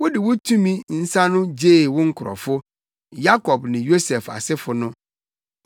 Wode wo tumi nsa no gyee wo nkurɔfo, Yakob ne Yosef asefo no.